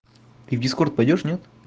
ты в бискор пойдёшь нет